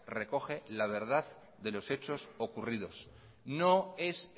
recoge la verdad de los hechos ocurridos no es